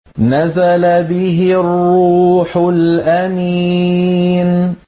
نَزَلَ بِهِ الرُّوحُ الْأَمِينُ